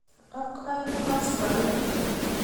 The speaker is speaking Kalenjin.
Ak aeng' koskoliny.